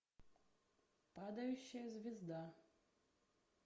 падающая звезда